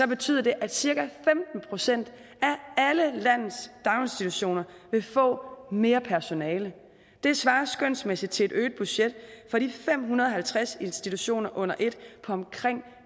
betyder det at cirka femten procent af alle landets daginstitutioner vil få mere personale det svarer skønsmæssigt til et øget budget for de fem hundrede og halvtreds institutioner under ét på omkring